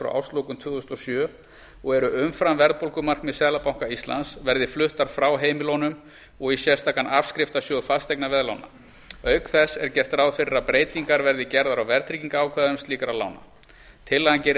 frá árslokum tvö þúsund og sjö og eru umfram verðbólgumarkmið seðlabanka íslands verði fluttar frá heimilunum og í sérstakan afskriftasjóð fasteignaveðlána auk þess er gert ráð fyrir að breytingar verði gerðar á verðtryggingarákvæðum slíkra lána tillagan gerir ráð fyrir